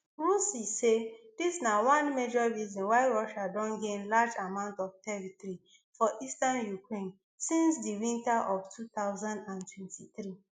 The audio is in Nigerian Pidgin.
rusi say dis na one major reason why russia don gain large amounts of territory for eastern ukraine since di winter of two thousand and twenty-three